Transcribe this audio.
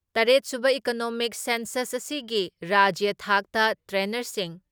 ꯇꯔꯦꯠ ꯁꯨꯕ economic census ꯑꯁꯤꯒꯤ ꯔꯥꯖ꯭ꯌ ꯊꯥꯛꯇ ꯇ꯭ꯔꯦꯅꯔꯁꯤꯡ